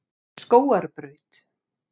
Skógarbraut